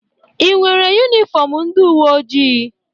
I nwere yunifọmụ ndị uweojii?